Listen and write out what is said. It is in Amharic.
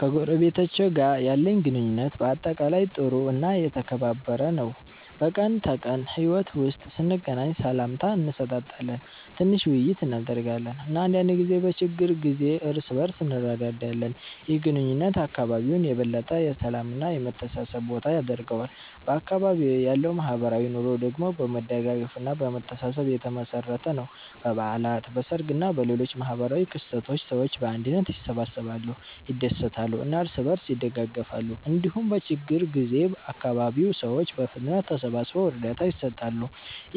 ከጎረቤቶቼ ጋር ያለኝ ግንኙነት በአጠቃላይ ጥሩ እና የተከባበረ ነው። በቀን ተቀን ሕይወት ውስጥ ስንገናኝ ሰላምታ እንሰጣጣለን፣ ትንሽ ውይይት እናደርጋለን እና አንዳንድ ጊዜ በችግር ጊዜ እርስ በእርስ እንረዳዳለን። ይህ ግንኙነት አካባቢውን የበለጠ የሰላም እና የመተሳሰብ ቦታ ያደርገዋል። በአካባቢዬ ያለው ማህበራዊ ኑሮ ደግሞ በመደጋገፍ እና በመተሳሰብ የተመሠረተ ነው። በበዓላት፣ በሰርግ እና በሌሎች ማህበራዊ ክስተቶች ሰዎች በአንድነት ይሰበሰባሉ፣ ይደሰታሉ እና እርስ በእርስ ይደጋገፋሉ። እንዲሁም በችግኝ ጊዜ አካባቢው ሰዎች በፍጥነት ተሰብስበው እርዳታ ይሰጣሉ።